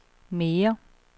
mere